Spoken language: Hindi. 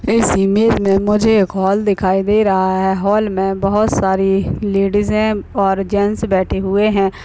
इस इमेज में मुझे एक हॉल दिखाई दे रहा है हॉल में बहुत सारी लेडीजे और जेंट्स बैठे हुए है